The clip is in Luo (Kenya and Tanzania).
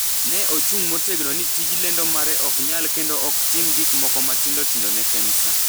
Ne ochung’ motegno ni tij lendo mare ok nyal kendo ok otim gik moko matindo tindo ne Kemsa.